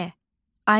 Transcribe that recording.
Aliyə.